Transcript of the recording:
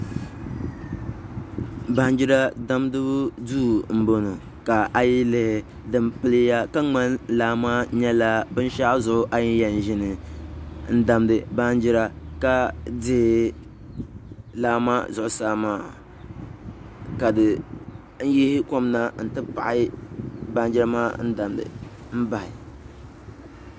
Baanjira damgibu duu n bɔŋɔ ka a yi lihi din piliya ka ŋmani laa maa nyɛla binshaɣu zuɣu a yi yɛn ʒini n damdi baanjira ka dihi laa maa zuɣusaa maa ka di yihi kom na n ti paɣi baanjira maa damdi n bahi